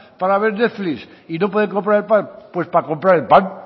para ver netflix y no pueden comprar el pan